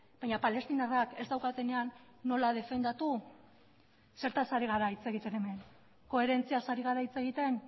baina palestinarrak ez daukatenean nola defendatu zertaz ari gara hitz egiten hemen koherentziaz ari gara hitz egiten